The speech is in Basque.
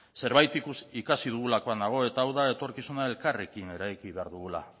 zerbait ikasi dugulakoan nago eta hau da etorkizuna elkarrekin eraiki behar dugula